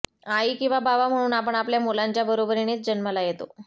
आई किंवा बाबा म्हणून आपण आपल्या मुलांच्या बरोबरीनेच जन्माला येतो